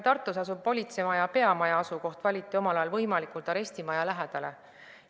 Tartus asuva politsei peamaja asukoht valiti omal ajal võimalikult arestimaja lähedale.